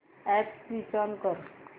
app switch on कर